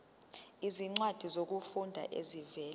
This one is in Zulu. izincwadi zokufunda ezivela